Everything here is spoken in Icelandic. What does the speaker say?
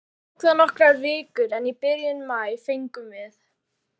Tók það nokkrar vikur, en í byrjun maí fengum við